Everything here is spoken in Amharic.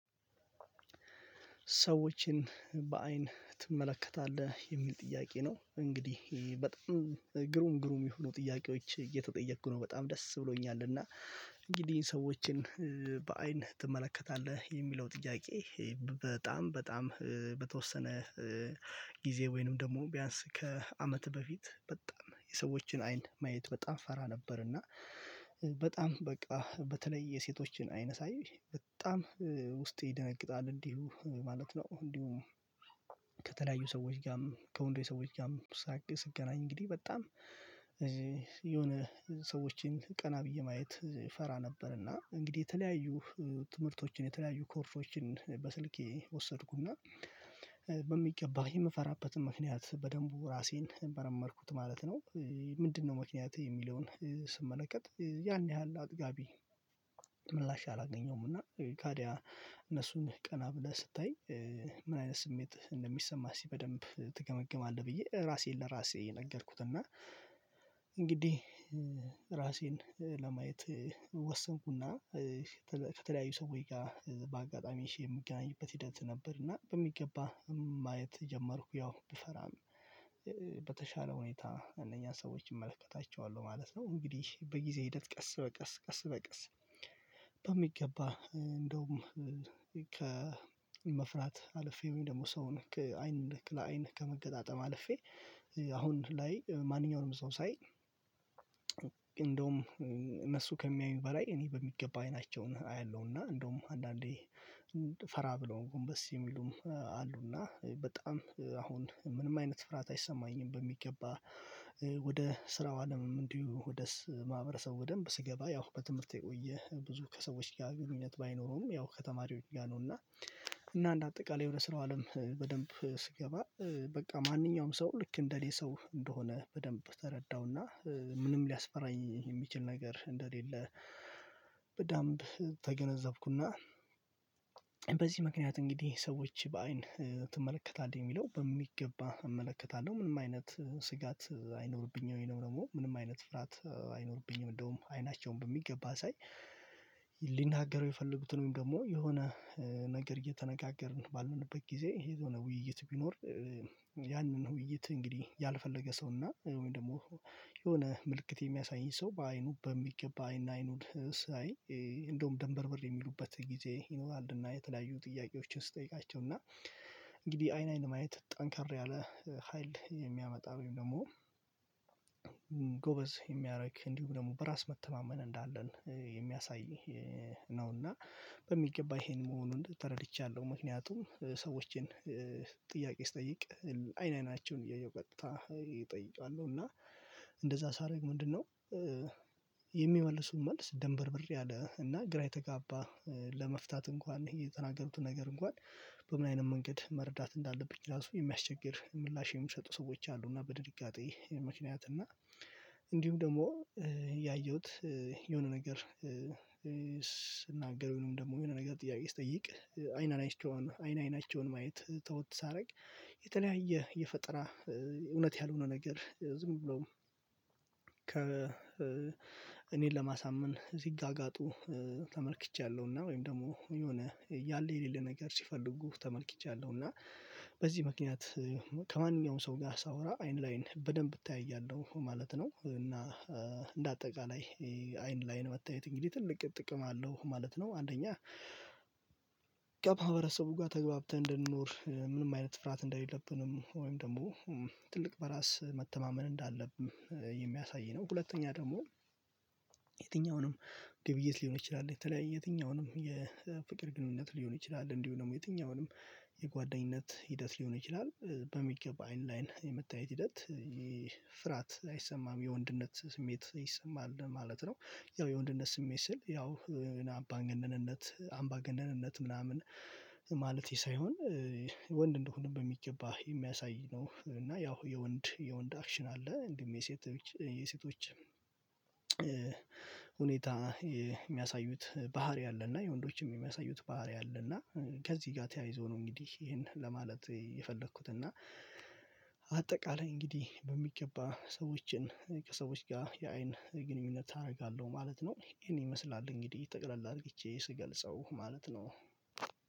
ሰዎችን በአይን ትመለከታለህ የሚል ጥያቄ ነው? እንግዲህ ይሄ በጣም ግሩም ግሩም የሆኑ ጥያቄዎች እየተጠየቅኩ ነው በጣም ደስ ብሎኛል። እና እንግዲህ ሰዎችን በአይን ትመለከታለህ የሚለው ጥያቄ በጣም በጣም በተወሰነ ጊዜ ወይንም ደግሞ ቢያንስ ከአመት በፊት በጣም የሰዎችን አይን ማየት በጣም እፈራ ነበር እና በጣም በቃ በተለይ የሴቶችን አይን ሳይ በጣም ውስጤ ይደነግጣል እንዲሁ ማለት ነው። እንዲሁም ከተለያዩ ሰዎች ጋርም ከወንዶች ሰዎች ጋርም ሳግ ስገናኝ እንግዲህ በጣም የሆነ ሰዎችን ቀና ብዬ ማየት እፈራ ነበር እና እንግዲህ የተለያዩ ትምህርቶችን የተለያዩ ኮርሶችን በስልኬ ወሰድኩና በሚገባ የምፈራበትን ምክንያት በደንቡ ራሴን መረመርኩት ማለት ነው። ምንድነው ምክንያቴ የሚለውን ስመለከት ያን ያህል አጥጋቢ ምላሽ አላገኘውም። እና ታዲያ እነሱን ቀና ብለህ ስታይ ምን አይነት ስሜት እንደሚሰማህ እስኪበደንብ ትገመግማለህ ብዬ ራሴን ለራሴ ነገርኩት። እና እንግዲህ ራሴን ለማየት ወሰንኩና ከተለያዩ ሰዎች ጋር በአጋጣሚ ሺ የምገናኝበት ሂደት ነበር እና በሚገባ ማየት ጀመርኩ ያው ብፈራም በተሻለ ሁኔታ እነኛን ሰዎች እመለከታቸዋለሁ ማለት ነው። እንግዲህ በጊዜ ሂደት ቀስ በቀስ ቀስ በቀስ በሚገባ እንደውም ከመፍራት አልፌ ወይም ደግሞ ሰውን ከአይን ለአይን ከመገጣጠም አልፌ አሁን ላይ ማንኛውንም ሰው ሳይ እንደውም እነሱ ከሚያዩኝ በላይ እኔ በሚገባ አይናቸውን አያለሁና እንደውም አንዳንዴ ፈራ ብለው ጎንበስ የሚሉም አሉና በጣም አሁን ምንም አይነት ፍርሃት አይሰማኝም። በሚገባ ወደ ስራው አለምም እንዲሁ ወደ ማህበረሰቡ በደንብ ስገባ ያው በትምህርት ውየ ብዙ ከሰዎች ጋር ግንኙነት ባይኖሩም ያው ከተማሪዎች ጋር ነው። እና እና እንደ አጠቃላይ የሆነ ስራው አለም በደንብ ስገባ በቃ ማንኛውም ሰው ልክ እንደኔሰው እንደሆነ በደንብ ተረዳሁና ምንም ሊያስፈራኝ የሚችል ነገር እንደሌለ። በደንብ ተገነዘብኩና። በዚህ ምክንያት እንግዲህ ሰዎች በአይን ትመለከታለህ የሚለው በሚገባ እመለከታለሁ ምንም አይነት ስጋት አይኖርብኝም ደግሞ ምንም አይነት ፍራት አይኖርብኝም። እንደውም አይናቸውን በሚገባ ሳይ ሊናገረው የፈለጉትን ወይም ደግሞ የሆነ ነገር እየተነጋገርን ባልንበት ጊዜ የሆነ ውይይት ቢኖር ያንን ውይይት እንግዲህ ያልፈለገ ሰው እና ወይም ደግሞ የሆነ ምልክት የሚያሳይ ሰው በአይኑ በሚገባ አይን አይኑን ሳይ እንደውም ደንበርበር የሚሉበት ጊዜ ይኖራልና የተለያዩ ጥያቄዎችን ስትጠይቃቸው እና እንግዲህ አይን አይን ማየት ጠንካራ ያለ ሀይል የሚያመጣ ወይም ደግሞ ጎበዝ የሚያደርግ እንዲሁ ደግሞ በራስ መተማመን እንዳለን የሚያሳይ ነው። እና በሚገባ ይሄን መሆኑን ተረድቻለሁ። ምክንያቱም ሰዎችን ጥያቄ ስጠይቅ አይን አይናቸውን እያየሁ ቀጥታ እጠይቀለሁ እና እንደዛ ሳደርግ ምንድነው? የሚመልሱት መልስ ደንበር ብር ያለ እና ግራ የተጋባ ለመፍታት እንኳን የተናገሩት ነገር እንኳን በምን አይነት መንገድ መረዳት እንዳለብኝ ራሱ የሚያስቸግር ምላሽ የሚሰጡ ሰዎች አሉ። እና በድንጋጤ ምክንያት እና እንዲሁም ደግሞ ያየሁት የሆነ ነገር ስናገር ደግሞ የሆነ ነገር ጥያቄ ስጠይቅ አይናን አይቼውን አይን አይናቸውን ማየት ተወት ሳደርግ የተለያየ የፈጠራ እውነት ያልሆነ ነገር ዝም ብሎም ከ እኔን ለማሳመን ሲ ጋጋጡ ተመልክቻለሁና ወይም ደግሞ የሆነ ያለ የሌለ ነገር ሲፈልጉ ተመልክቻለሁና በዚህ ምክንያት ከማንኛውም ሰው ጋር ሳወራ አይን ላይን በደንብ እተያያለሁ ማለት ነው። እና እንደ አጠቃላይ አይን ለአይን መታየት እንግዲህ ትልቅ ጥቅም አለው ማለት ነው። አንደኛ ከማህበረሰቡ ጋር ተግባብተን እንድንኖር ምንም አይነት ፍራት እንደሌለብንም ወይም ደግሞ ትልቅ በራስ መተማመን እንዳለብን የሚያሳይ ነው። ሁለተኛ ደግሞ የትኛውንም ግብይት ሊሆን ይችላል የተለያየ የትኛውንም የፍቅር ግንኙነት ሊሆን ይችላል እንዲሁ ደግሞ የትኛውንም የጓደኝነት ሂደት ሊሆን ይችላል በሚገባ አይን ላይን የመታየት ሂደት ይህ ፍራት አይሰማም። የወንድነት ስሜት ይሰማል ማለት ነው ያው የወንድነት ስሜት ስል ያው አምባ ገነንነት አምባ ገነንነት ምናምን ማለቴ ሳይሆን ወንድ እንደሆንን በሚገባ የሚያሳይ ነው። እና ያው የወንድ የወንድ አክሽን አለ እንዲህም የሴት የሴቶች ሁኔታ የሚያሳዩት ባህሪ አለ። እና የወንዶችም የሚያሳዩት ባህሪ አለ። እና ከዚህ ጋር ተያይዞ ነው እንግዲህ ይሄን ለማለት የፈለኩት እና አጠቃላይ እንግዲህ በሚገባ ሰዎችን ከሰዎች ጋር የአይን ግንኙነት አደርጋለሁ ማለት ነው። እኔ ይመስላል እንግዲህ ጠቅለል አርግቼ ስገልጸው ማለት ነው።